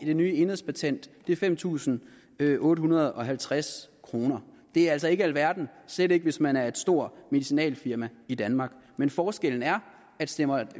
det nye enhedspatent fem tusind otte hundrede og halvtreds kroner det er altså ikke alverden og slet ikke hvis man er et stort medicinalfirma i danmark men forskellen er at stemmer